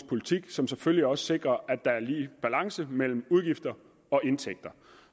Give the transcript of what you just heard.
politik som selvfølgelig også sikrer at der er balance mellem udgifter og indtægter